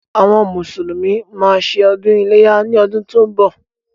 Àwọn mùsùlùmí má a ṣe ọdún iléyá ní ọdún tí ó ń bọ̀.